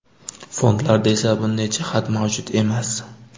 Fondlarda esa bunday jihat mavjud emas.